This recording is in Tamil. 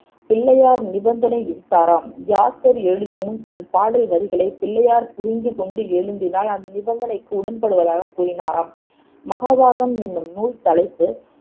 பிள்ளையார் நிபந்தனை விதித்தாராம் வியாசர் எழுதுமுன் தன் பாடல் வரிகளைப் பிள்ளையார் புரிந்து கொண்டு எழுதினால் அந் நிபந்தனைக்கு உடன்படுவதாகக் கூறினாராம் மகாபாரதம் என்னும் நூல் தலைப்பு